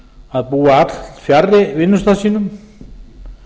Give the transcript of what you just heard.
að búa allfjarri vinnustað sínum